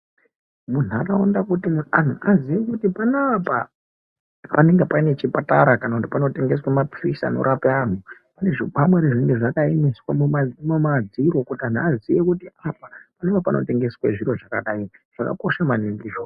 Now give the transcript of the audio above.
Muntaraunda kuti antu aziye kuti panapa panenge pane chipatara kana kuti panotengeswe maphirizi anorape antu. Pane zvikwangwari zvinenge zvakaiswa mumadziro kuti anhu aziye kuti apa ndipo panotengeswa zviro zvakadai zvakakosha maningi izvozvo.